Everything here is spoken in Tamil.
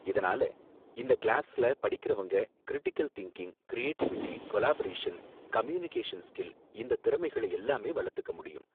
இதனால, இந்த கிளாஸ்ல படிக்கறவங்க, critical thinking, creativity, collaboration, communication skill இந்தத் திறமைகளை எல்லாமே வளர்த்துக்க முடியும்.